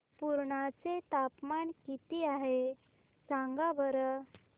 पुर्णा चे तापमान किती आहे सांगा बरं